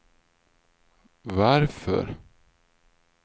varför